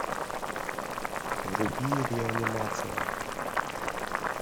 вруби реанимация